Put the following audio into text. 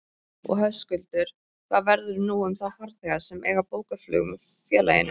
Og Höskuldur, hvað verður nú um þá farþega sem eiga bókað flug með félaginu?